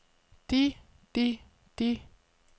de de de